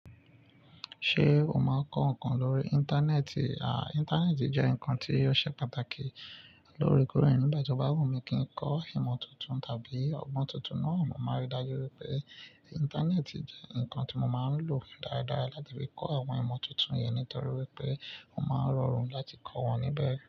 Ṣé o máa kọ ǹkan lórí Íńtánẹ́ẹ̀tì? À, Íńtánẹ́ẹ̀tì jẹ́ ǹkan tí ó ṣe pàtàkì lórí kòrínrìn. Báwo ni kí ń kọ ìmọ̀ tuntun tàbí ọgbọ́n tuntun náà, mo máa rí i dájú wípé Íńtánẹ́ẹ̀tì jẹ́ ǹkan tí mo máa ń lò dáradára láti fi kọ àwọn ìmọ̀ tuntun yẹn nítorí wípé mo máa rọrùn láti kọ wọ́n níbẹ̀.